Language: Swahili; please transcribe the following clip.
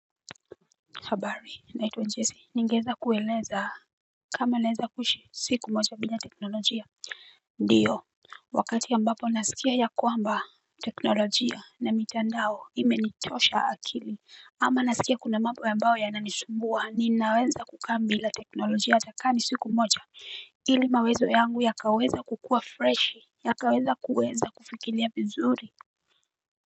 Habari, naitwa Njese, ningeeza kueleza kama naweza kuishi siku moja bila teknolojia. Ndiyo, wakati ambapo nasikia ya kwamba teknolojia na mitandao ime nichosha akili. Ama nasikia kuna mambo ambayo yananisumbua, ninaweza kukaa mbila teknolojia atakaa ni siku moja. Ili mawazo yangu yakaweza kukua freshi, yakaweza kueza kufikiria vizuri.